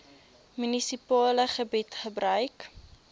munisipale gebied gebruik